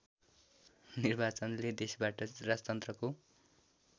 निर्वाचनले देशबाट राजतन्त्रको